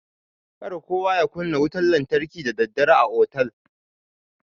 Kar kowa ya kunna wutan lantarki da daddare a otal.